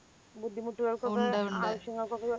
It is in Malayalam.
ബുദ്ധിമുട്ടകൾക്കൊക്കെ അവശ്യങ്ങൾക്കൊക്കെ